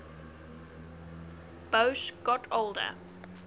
boas got older